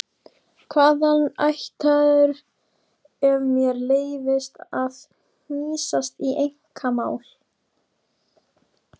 Hvaðan ættaður ef mér leyfist að hnýsast í einkamál?